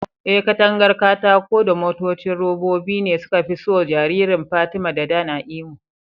Eh, katangar katako da motocin robobi ne suka fi so jariran Fatima da Dan a Imo.